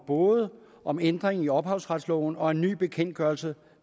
både om en ændring af ophavsretsloven og om en ny bekendtgørelse